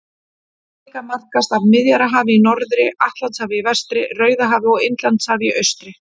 Afríka markast af Miðjarðarhafi í norðri, Atlantshafi í vestri, Rauðahafi og Indlandshafi í austri.